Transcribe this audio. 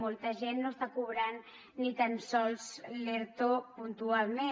molta gent no està cobrant ni tan sols l’erto puntualment